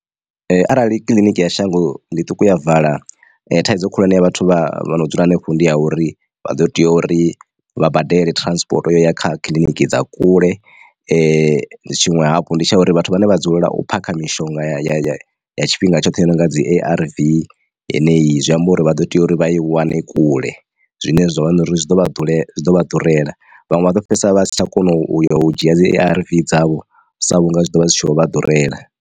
Ee arali kiḽiniki ya shango ḽiṱuku ya vala thaidzo khulwane ya vhathu vha no dzula hanefho ndi ya uri vha ḓo tea uri vha badele transport ya kha kiḽiniki dza kule. Tshiṅwe hafhu ndi tsha uri vhathu vhane vha dzulela u phakha mishonga ya tshifhinga tshoṱhe yo nonga dzi A_R_V yeneyi zwi amba uri vha ḓo tea uri vha i wane kule zwine zwa vha na uri zwi ḓo vha ḓurela zwi ḓo vha ḓurela vhanwe vha ḓo fhedzisela vha si tsha kona u yo u dzhia dzi A_R_V dzavho sa vhunga zwi tshi ḓo vha zwi tshi vho vha ḓurela.